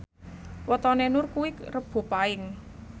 wetone Nur kuwi Rebo Paing